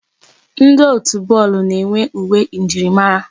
Ndi otu bọọlụ na-enwe uwe njirimara.